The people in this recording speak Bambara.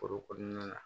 Foro kɔnɔna na